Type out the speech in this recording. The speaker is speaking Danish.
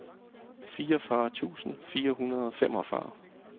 fireogfyrre tusind fire hundrede og femogfyrre